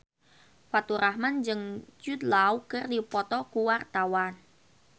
Faturrahman jeung Jude Law keur dipoto ku wartawan